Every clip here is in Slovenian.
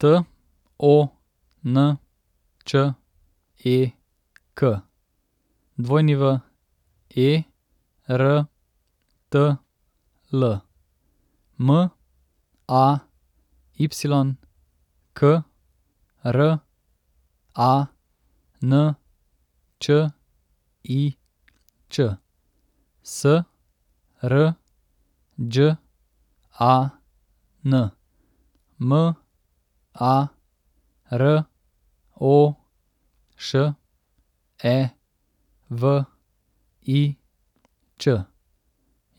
T O N Č E K, W E R T L; M A Y, K R A N Č I Č;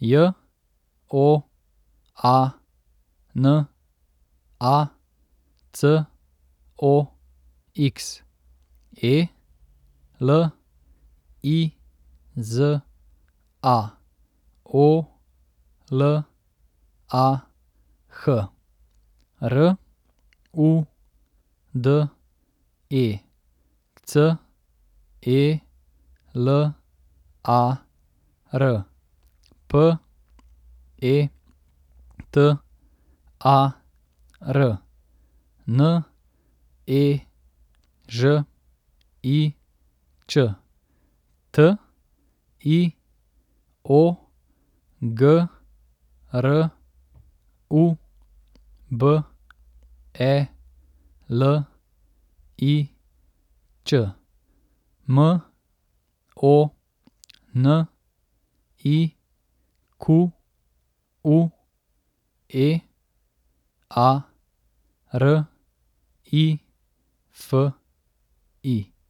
S R Đ A N, M A R O Š E V I Č; J O A N A, C O X; E L I Z A, O L A H; R U D E, C E L A R; P E T A R, N E Ž I Č; T I O, G R U B E L I Ć; M O N I Q U E, A R I F I.